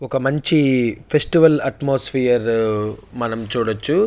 ఒక మంచి festival atmosphere మనం చూడొచ్చు.